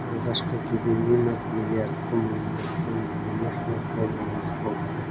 алғашқы кезеңнен ақ миллиардты мойындатқан димаш оқ бойы озық болды